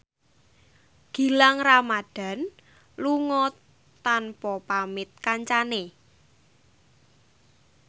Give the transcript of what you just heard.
Gilang Ramadan lunga tanpa pamit kancane